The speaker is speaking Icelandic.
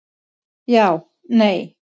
Já Nei